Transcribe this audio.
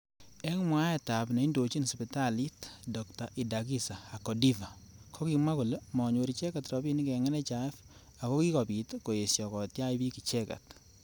Eng mwaet ab neindojin sipitalit Dr.Idagiza Akodiva kokimwa kole manyor icheket robinik eng NHIF akokibit koesho kotyach bik icheket.